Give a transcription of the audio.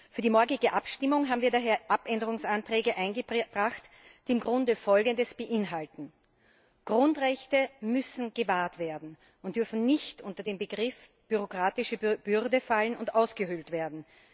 Für die morgige Abstimmung haben wir daher Änderungsanträge eingebracht, die im Grunde Folgendes beinhalten Grundrechte müssen gewahrt werden und dürfen nicht unter den Begriff bürokratische Bürde fallen und ausgehöhlt werden.